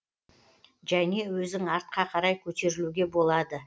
және өзің артқа қарай көтерілуге болады